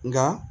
Nka